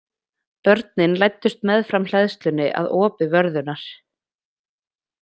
Börnin læddust meðfram hleðslunni að opi vörðunnar.